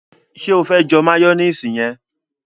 ṣe o fe jẹ mayonnaise yẹn?